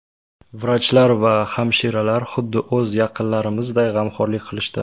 Vrachlar va hamshiralar xuddi o‘z yaqinlarimizday g‘amxo‘rlik qilishdi.